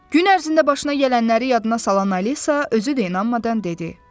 Gün ərzində başına gələnləri yadına salan Alisa özü də inanmadan dedi.